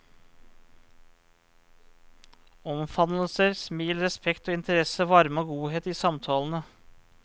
Omfavnelser, smil, respekt og interesse, varme og godhet i samtalene.